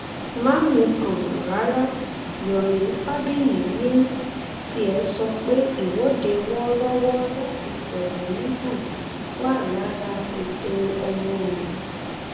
má mikàn rárá yomi fabayì ní tiẹ sọ pé ìwọde wọọrọwọ láti fẹhónú hàn wà lára ẹtọ ọmọnìyàn